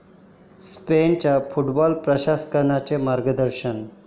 स्पेनच्या फुटबॉल प्रशिक्षकांचं मार्गदर्शन